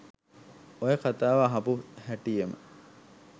ඔය කතාව අහපු හැටියෙම